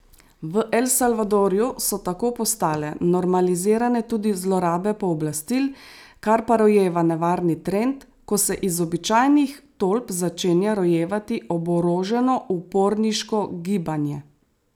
V El Salvadorju so tako postale normalizirane tudi zlorabe pooblastil, kar pa rojeva nevarni trend, ko se iz običajnih tolp začenja rojevati oboroženo uporniško gibanje.